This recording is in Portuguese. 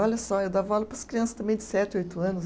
Olha só, eu dava aula para as crianças também de sete, oito anos.